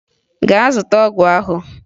Gaa zụta ọgwụ ahụ!